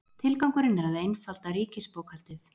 Tilgangurinn er að einfalda ríkisbókhaldið